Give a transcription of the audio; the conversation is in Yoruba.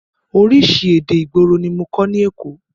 Oríṣi èdè ìgboro ní mọ kọ́ ní èkó.